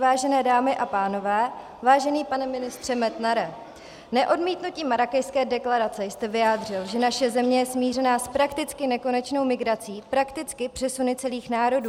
Vážené dámy a pánové, vážený pane ministře Metnare, neodmítnutím Marrákešské deklarace jste vyjádřil, že naše země je smířená s prakticky nekonečnou migrací, prakticky přesuny celých národů.